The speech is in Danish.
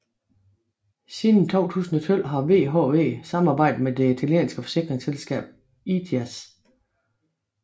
Siden 2012 har VHV samarbejdet med det italienske forsikringsselskab ITAS